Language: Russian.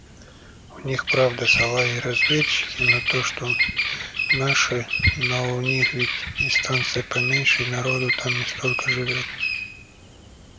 у них правда салаги разведчики ну то что наши но у них ведь и станция поменьше и народу там не столько живёт